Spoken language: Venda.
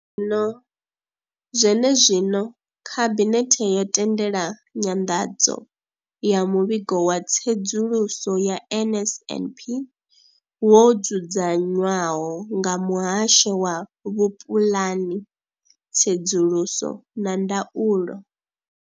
Zwene zwino, Khabinethe yo tendela nyanḓadzo ya Muvhigo wa Tsedzuluso ya NSNP wo dzudzanywaho nga Muhasho wa Vhupulani, Tsedzuluso na Ndaulo.